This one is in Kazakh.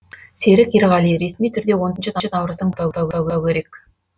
серік ерғали ресми түрде он төрт наурыздың басы деп атау керек